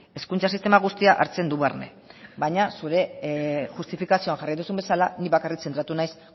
hezkuntza sistema guztiak hartzen du barne baina zure justifikazioan jarri duzun bezala ni bakarrik zentratu naiz